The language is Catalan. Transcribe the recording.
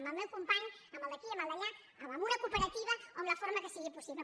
amb el meu company amb el d’aquí amb el d’allà amb una cooperativa o amb la forma que sigui possible